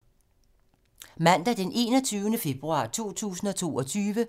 Mandag d. 21. februar 2022